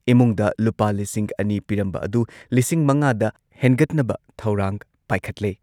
ꯏꯃꯨꯡꯗ ꯂꯨꯄꯥ ꯂꯤꯁꯤꯡ ꯑꯅꯤ ꯄꯤꯔꯝꯕ ꯑꯗꯨ ꯂꯤꯁꯤꯡ ꯃꯉꯥꯗ ꯍꯦꯟꯒꯠꯅꯕ ꯊꯧꯔꯥꯡ ꯄꯥꯏꯈꯠꯂꯦ꯫